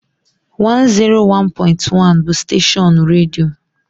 101.1 bụ steshọọnu redio